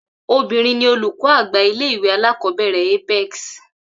Obìnrin ni olùkó àgbà ilé ìwé alákòóbèrè Apex